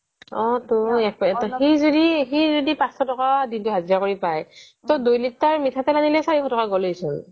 অ' তো সি যদি সি যদি পাঁচশ টকা হজিৰা কৰি পায় তো দুই লিটাৰ মিঠাতেল অনিলেই চাৰিশ টকা গলেইচোন